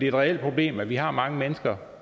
et reelt problem at vi har mange mennesker